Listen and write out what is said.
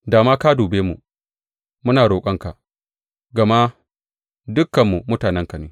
Da ma ka dube mu, muna roƙonka, gama dukanmu mutanenka ne.